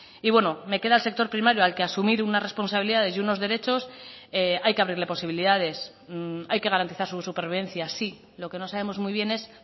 y bueno me queda el sector primario al que asumir unas responsabilidades y unos derechos hay que abrirle posibilidades hay que garantizar su supervivencia sí lo que no sabemos muy bien es